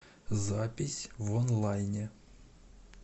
запись вонлайне